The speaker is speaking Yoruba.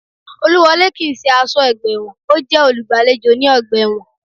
Olúwọlé kii ṣe aṣọ́ ọgbà ẹ̀wọ̀n, ọ́ jẹ́ olùgbàlejò ní ọgbà ẹ̀wọ̀n